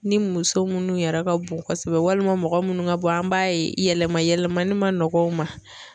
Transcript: Ni muso minnu yɛrɛ ka bon kosɛbɛ walima mɔgɔ minnu ka bɔ an b'a ye yɛlɛma yɛlɛmani ma nɔgɔ u ma